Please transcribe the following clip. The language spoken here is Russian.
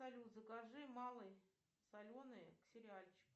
салют закажи малые соленые к сериальчику